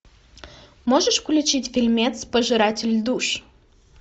можешь включить фильмец пожиратель душ